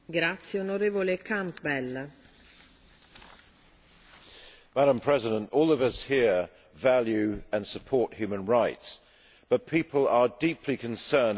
Madam President, all of us here value and support human rights, but people are deeply concerned about excessive rights for criminals, murderers and terrorists.